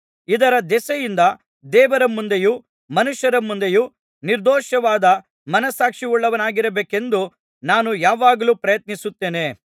ಇದರ ದೆಸೆಯಿಂದ ದೇವರ ಮುಂದೆಯೂ ಮನುಷ್ಯರ ಮುಂದೆಯೂ ನಿರ್ದೋಷವಾದ ಮನಸ್ಸಾಕ್ಷಿಯುಳ್ಳವನಾಗಿರಬೇಕೆಂದು ನಾನು ಯಾವಾಗಲೂ ಪ್ರಯತ್ನಿಸುತ್ತೇನೆ